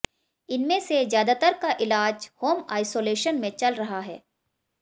इनमें से ज्यादातर का इलाज होम आइसोशेलन में चल रहा है